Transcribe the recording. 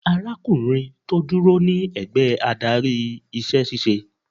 Arákùnrin tó dúró ní ẹ̀gbẹ́ adarí iṣẹ́ ṣíṣe.